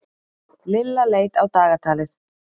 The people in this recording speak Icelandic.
Lilla leit á dagatalið.